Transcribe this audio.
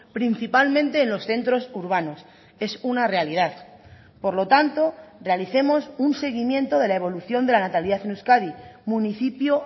principalmente en los centros urbanos es una realidad por lo tanto realicemos un seguimiento de la evolución de la natalidad en euskadi municipio